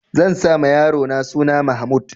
Zan sa ma yarona suna Mahmud.